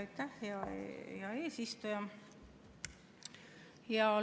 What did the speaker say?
Aitäh, hea eesistuja!